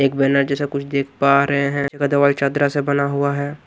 एक बैनर जैसा कुछ दिख पा रहे हैं का दवाई चदरा से बना हुआ हैं।